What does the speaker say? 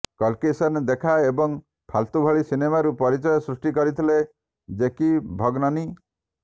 call Kisne Dekha ଏବଂ ଫାଲତୁ ଭଳି ସିନେମାରୁ ପରିଚୟ ସୃଷ୍ଟି କରିଥିଲେ ଜେକି ଭଗନନୀ